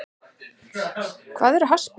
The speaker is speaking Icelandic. Hvað eru harðsperrur?